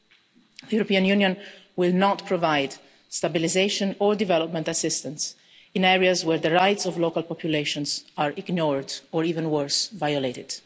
The European Union will not provide stabilisation or development assistance in areas where the rights of local populations are ignored or even worse, violated.